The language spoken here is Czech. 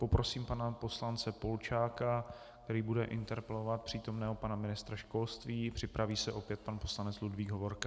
Poprosím pana poslance Polčáka, který bude interpelovat přítomného pana ministra školství, připraví se opět pan poslanec Ludvík Hovorka.